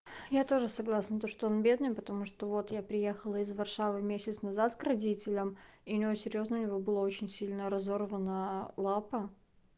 я тоже согласна то что он бедный потому что вот я приехала из варшавы месяц назад к родителям и у него серьёзно у него было очень сильно разорвана лапа